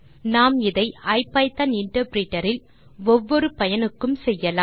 நாம் இதை IPython interpreter இல் ஒவ்வொரு பயனுக்கும் செய்யலாம்